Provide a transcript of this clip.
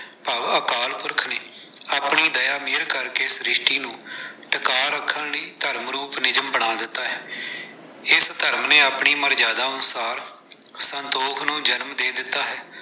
ਭਾਵ ਅਕਾਲ ਪੁਰਖ ਨੇ ਆਪਣੀ ਦਇਆ ਮਿਹਰ ਕਰਕੇ, ਸ਼੍ਰਿਸ਼ਟੀ ਨੂੰ ਟਕਾ ਰੱਖਣ ਲਈ ਧਰਮ ਰੂਪ ਨਿਯਮ ਬਣਾ ਦਿੱਤਾ ਹੈ। ਇਸ ਧਰਮ ਨੇ ਆਪਣੀ ਮਰਿਆਦਾ ਅਨੁਸਾਰ ਸੰਤੋਖ ਨੂੰ ਜਨਮ ਦੇ ਦਿੱਤਾ ਹੈ।